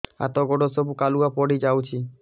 ହାତ ଗୋଡ ସବୁ କାଲୁଆ ପଡି ଯାଉଛି